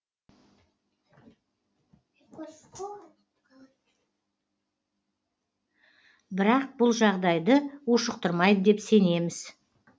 бірақ бұл жағдайды ушықтырмайды деп сенеміз